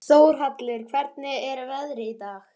Þórhallur, hvernig er veðrið í dag?